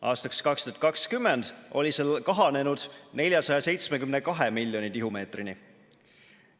Aastaks 2020 oli see kahanenud 472 miljoni tihumeetrini.